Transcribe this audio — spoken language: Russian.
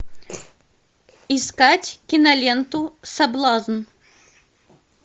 искать киноленту соблазн